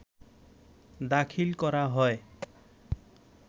দাখিল করা হয়